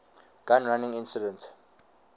gun running incident